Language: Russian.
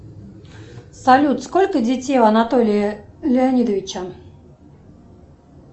салют сколько детей у анатолия леонидовича